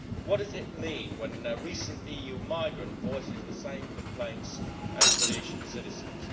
What does it mean when recent a EU migrant voices the same complaints as British citizens?